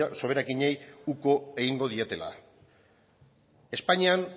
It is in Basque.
soberakinei uko egingo dietela espainian